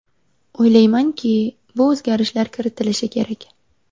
O‘ylaymanki, bu o‘zgarishlar kiritilishi kerak.